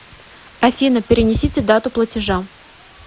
афина перенесите дату платежа